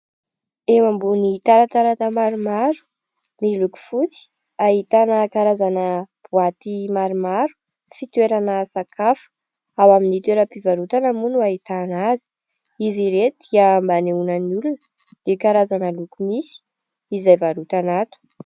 Eo ambony taratarata maromaro miloko fotsy ahitana karazana boaty maromaro fitoerana sakafo ao amin'ny toeran-pivarotana moa no ahitana azy izy ireto dia mba anehoana ny olona ny karazana loko misy izay varotana ato